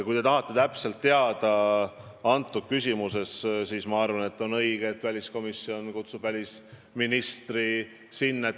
Kui te tahate teada vastust sellele küsimusele, siis on minu arvates õige, et väliskomisjon kutsub välisministri oma istungile.